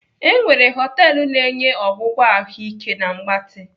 E nwere họtelu na-enye ọgwụgwọ ahụike na mgbatị.